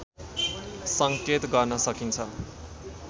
संकेत गर्न सकिन्छ